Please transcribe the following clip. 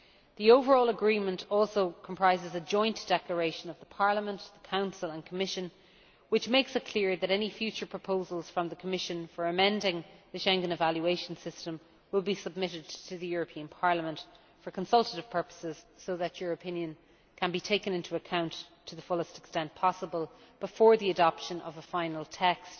The overall agreement also comprises a Joint Declaration by Parliament, the Council and the Commission which makes it clear that any future proposals from the Commission for amending the Schengen evaluation system will be submitted to Parliament for consultative purposes, so that your opinion can be taken into account to the fullest extent possible before the adoption of a final text,